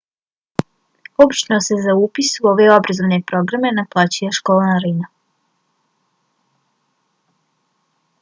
obično se za upis u ove obrazovne programe naplaćuje školarina